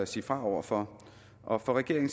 sige fra over for og for regeringen